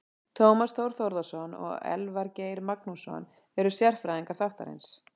Tómas Þór Þórðarson og Elvar Geir Magnússon eru sérfræðingar þáttarins.